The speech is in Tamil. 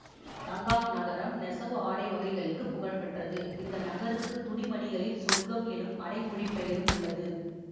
தங்காக் நகரம் நெசவு ஆடை வகைகளுக்குப் புகழ்பெற்றது இந்த நகருக்கு துணிமணிகளின் சொர்க்கம் எனும் அடைமொழிப் பெயரும் உள்ளது